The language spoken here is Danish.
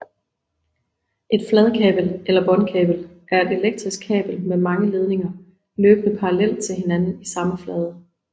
Et fladkabel eller båndkabel er et elektrisk kabel med mange ledninger løbende parallelt til hinanden i samme flade